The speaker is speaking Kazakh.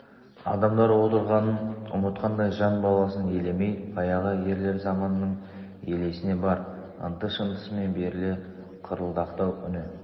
адамдар отырғанын ұмытқандай жан баласын елемей баяғы ерлер заманының елесіне бар ынты-шынтысымен беріле қырылдақтау үні